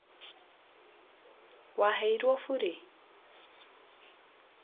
waheirwo bure?